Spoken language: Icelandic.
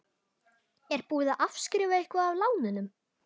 Er búið að afskrifa eitthvað af lánunum?